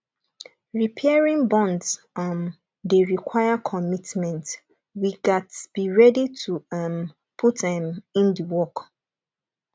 repairing bonds um dey require commitment we gats be ready to um put um in the work